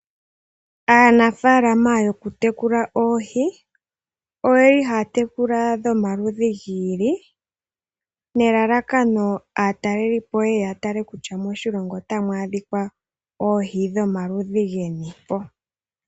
Aanafaalama yokutekula oohi oye li haya tekula oohi dhomaludhi gi ili, nelalakano opo aatalelipo ye ye ya tale kutya moshilongo otamu adhika oohi dhomaludhi geni po.